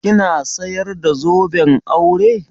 Kina sayar da zoben aure?